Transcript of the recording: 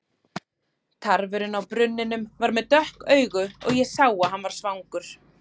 Tarfurinn á brunninum var með dökk augu og ég sá að hann var svangur.